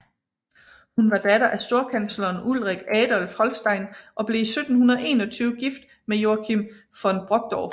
Hun var datter af storkansleren Ulrik Adolf Holstein og blev i 1721 gift med Joachim von Brockdorff